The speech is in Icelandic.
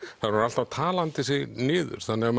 hún er alltaf talandi sig niður þannig að